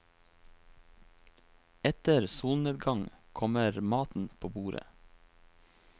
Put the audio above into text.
Etter solnedgang kommer maten på bordet.